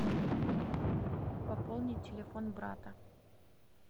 пополнить телефон брата